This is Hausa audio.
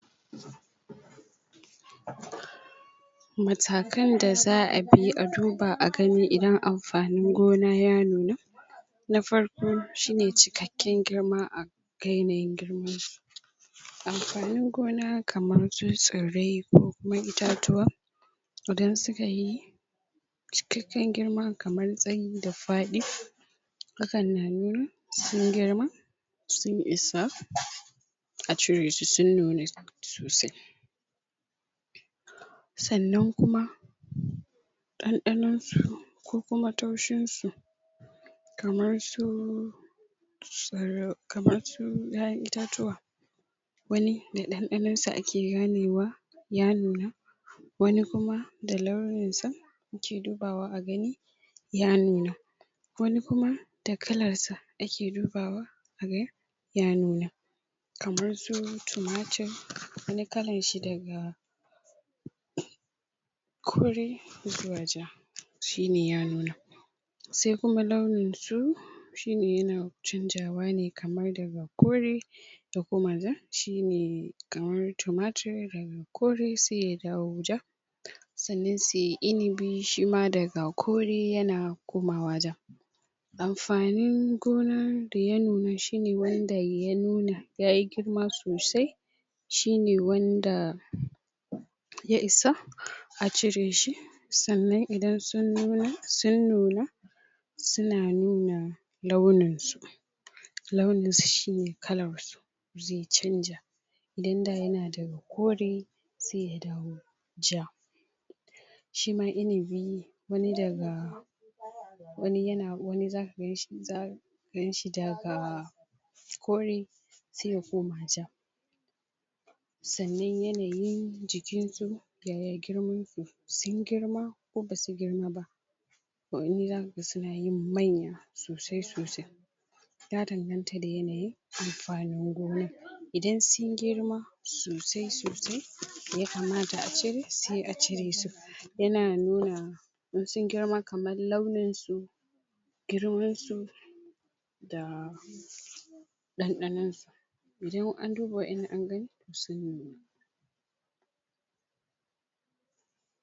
matakan da za'abi a duba a gani idan amfanin gona ya nuna na farko shine cikakken girma a ga yanayin girman amfanin gona kamar su tsirrai ko kuma itatuwa idan su kayi cikakken girma kamar tsayi da fadi hakan na nuna sun gima sun isa a cire su sun nuna sosai sannan kuma dandanon su ko kuma taushin su kamar su tsir kamar su yayan itatuwa wani da dandanon sa ake ganewa ya nuna wani kuma da launin sa ake dubawa a gani ya nuna wani kuma da kalar sa ake dubawa aga ya nuna kamar su tumamtur wani kalan shi daga kore zuwa ja shine ya nuna sai kuma launin su shine yana canzawa ne kamar daga kore ta koma ja shine kamar tumatur kore sai ya dawo ja sannan sai inibi shima daga kore yana komawa ja amfanin gonar da ya nune shine wanda ya nuna yayi girma sosai shine wanda ya isa cire shi sannan idan sun nuna suna nuna launin su launin su shine kamar su zai canja idan da yana da kore sai ta dawo ja shima inibi wani daga wani yana wani zaka ganshi za ka ganshi da kore sai ya koma ja sannan yanayin jikin su yaya girman su sun girma ko basu girma ba wani zakaga suna yin manya sosai sosai ya danganta da yanayin amfanin gona idan sun girma sosai sosai da ya kamata a cire sai a cire su yana nuna in sun girma kamar launin su girman su da dandanon su idan an duba wadannan an agani sun nuna